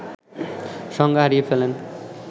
সংজ্ঞা হারিয়ে ফেলেন